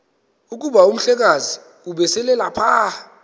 kuba umhlekazi ubeselelapha